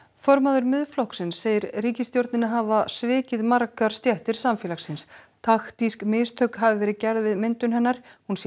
formaður Miðflokksins segir ríkisstjórnina hafa svikið margar stéttir samfélagsins taktísk mistök hafi verið gerð við myndun hennar hún sé